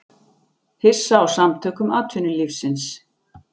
Hissa á Samtökum atvinnulífsins